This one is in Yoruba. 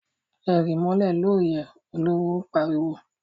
E ríí mólè lóóyè! Oluwo pariwo!